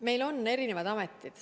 Meil on erinevad ametid.